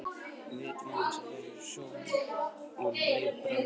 Við vitum aðeins að þeir eru sjómenn og um leið bræður okkar.